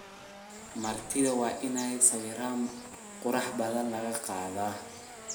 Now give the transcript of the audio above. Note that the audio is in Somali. Martidha waina sawiran kurux badaan lakaqadhaa.